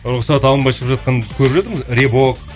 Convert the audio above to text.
рұқсат алынбай шығып жатқанды көріп едім рэбок